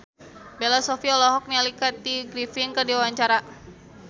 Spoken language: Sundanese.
Bella Shofie olohok ningali Kathy Griffin keur diwawancara